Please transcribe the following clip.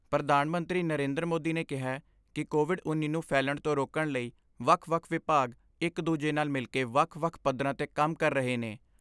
ਪ੍ਰਧਾਨ ਮੰਤਰੀ ਨਰਿੰਦਰ ਮੋਦੀ ਨੇ ਕਿਹੈ ਕਿ ਕੋਵਿਡ ਉੱਨੀ ਨੂੰ ਫੈਲਣ ਤੋਂ ਰੋਕਣ ਲਈ ਵੱਖ ਵੱਖ ਵਿਭਾਗ ਇਕ ਦੂਜੇ ਨਾਲ ਮਿਲਕੇ ਵੱਖ ਵੱਖ ਪੱਧਰਾਂ 'ਤੇ ਕੰਮ ਕਰ ਰਹੇ ਨੇ।